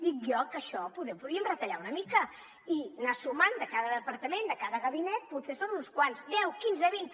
dic jo que això poder ho podríem retallar una mica i anar sumant de cada departament de cada gabinet potser són uns quants deu quinze vint